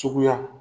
Suguya